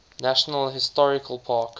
national historical park